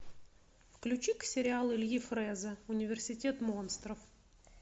включи ка сериал ильи фрэза университет монстров